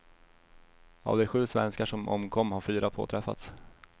Av de sju svenskar som omkom har fyra påträffats.